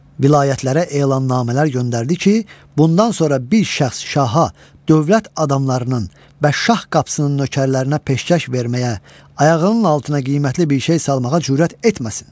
Vilayətlərə elannamələr göndərdi ki, bundan sonra bir şəxs şaha, dövlət adamlarının və şah qapısının nökərlərinə peşkəş verməyə, ayağının altına qiymətli bir şey salmağa cürət etməsin.